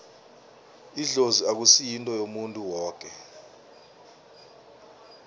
idlozi akusi yinto yomuntu woke